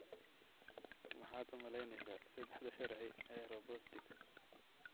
Maxaad u malaynaysaa saddexda sharci ee robotics?